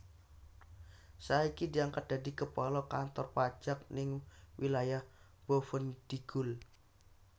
Saiki diangkat dadi kepala kantor pajak ning wilayah Boven Digul